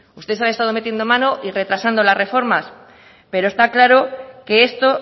ustedes han estado metiendo mano y retrasando las reformas pero está claro que esto